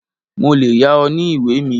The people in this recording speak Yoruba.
Mo lè yá ọ ní ìwé mi.